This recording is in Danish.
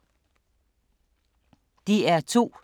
DR2